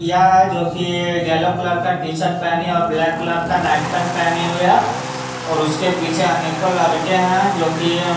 हैं जो कि ई येल्लो कलर का टी-शर्ट पहनी और ब्लैक कलर का नाइट पैंट पहनी हुई हैं और उसके पीछे अनेकों लड़के हैं जो कि अ--